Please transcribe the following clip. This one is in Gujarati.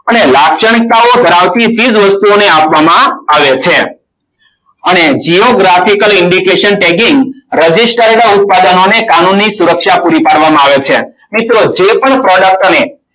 અને લાક્ષણિકતાઓ ધરાવતી ચીજ વસ્તુઓને આપવામાં આવે છે અને giographical indication taging register ના ઉત્પાદનોને કાનૂની સુરક્ષા પૂરી પાડવામાં આવે છે મિત્રો જે પણ product ને